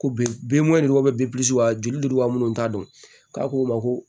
Ko bin binsira wa joli wa minnu t'a dɔn k'a ko ma ko